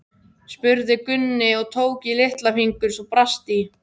spurði Gunni og tók í litla fingur svo brast í.